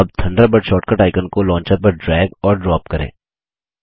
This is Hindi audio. अब थंडरबर्ड शॉर्टकट आइकन को लॉन्चर पर ड्रैग और ड्रॉप करें